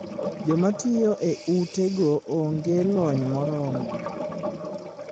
Joma tiyo e ute go onge lony moromo.